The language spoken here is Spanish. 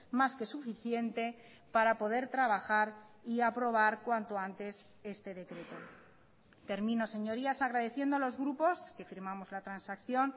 más que suficiente para poder trabajar y aprobar cuanto antes este decreto termino señorías agradeciendo a los grupos que firmamos la transacción